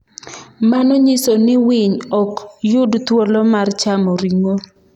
Mano nyiso ni winy ok yud thuolo mar chamo ring’o.